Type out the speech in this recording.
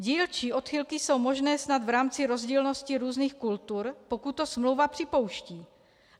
Dílčí odchylky jsou možné snad v rámci rozdílnosti různých kultur, pokud to smlouva připouští.